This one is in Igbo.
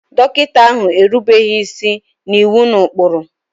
Dọkịta ahụ erubeghị isi n'iwu na ụkpụrụ.